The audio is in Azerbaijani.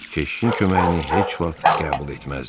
Keşişin köməyini heç vaxt qəbul etməzdi.